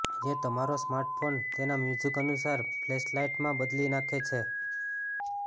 જે તમારો સ્માર્ટફોન તેના મ્યુઝિક અનુસાર ફ્લેશલાઈટમાં બદલી નાખે છે